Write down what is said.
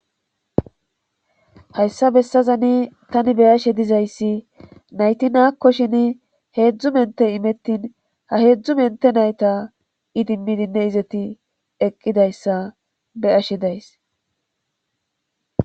hayssa bessazani tani beyashe dizayssi nayti naakkoshin heedzdzu mente imettin ha heedzdzu mente nayta idimmidinne izeti eqqidayssa beyashe days